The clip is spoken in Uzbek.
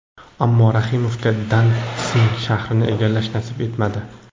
Ammo Rahimovga Dantsig shahrini egallash nasib etmadi.